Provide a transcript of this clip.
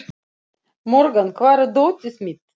Morgan, hvar er dótið mitt?